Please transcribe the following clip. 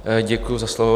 Děkuji za slovo.